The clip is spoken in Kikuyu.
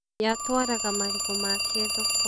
ye atwaraga marigũ make thoko